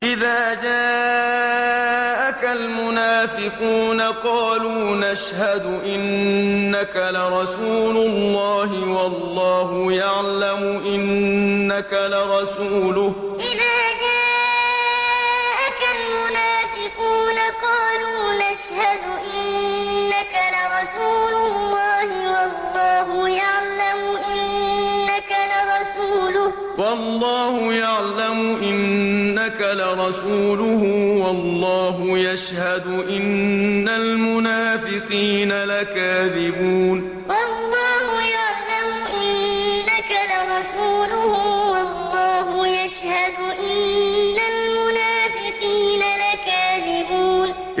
إِذَا جَاءَكَ الْمُنَافِقُونَ قَالُوا نَشْهَدُ إِنَّكَ لَرَسُولُ اللَّهِ ۗ وَاللَّهُ يَعْلَمُ إِنَّكَ لَرَسُولُهُ وَاللَّهُ يَشْهَدُ إِنَّ الْمُنَافِقِينَ لَكَاذِبُونَ إِذَا جَاءَكَ الْمُنَافِقُونَ قَالُوا نَشْهَدُ إِنَّكَ لَرَسُولُ اللَّهِ ۗ وَاللَّهُ يَعْلَمُ إِنَّكَ لَرَسُولُهُ وَاللَّهُ يَشْهَدُ إِنَّ الْمُنَافِقِينَ لَكَاذِبُونَ